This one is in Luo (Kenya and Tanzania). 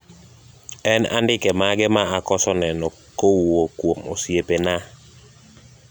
en andike mage ma akoso neno kowuok kuom osiepena